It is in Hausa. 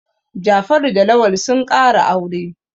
Jafaru da Lawal sun ƙara aure.